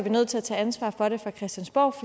nødt til at tage ansvar for det fra christiansborgs